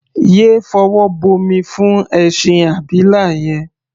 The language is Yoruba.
Yé fọwọ́ bomi fún ẹṣin abila yẹn!.